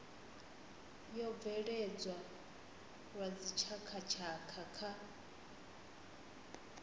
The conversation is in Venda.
yo bveledzwa lwa dzitshakhatshakha kha